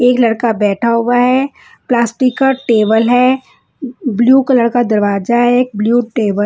एक लड़का बैठा हुआ है प्लास्टिक का टेबल है ब्लू कलर का दरवाजा है एक ब्लू टेबल --